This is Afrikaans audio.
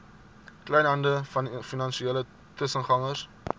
kleinhandel finansiële tussengangers